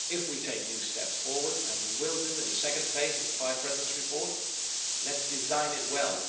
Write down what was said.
So if we take new steps forward, and we will do in the second phase of the Five Presidents' Report, let us design it well.